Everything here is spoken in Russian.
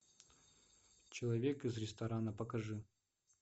человек из ресторана покажи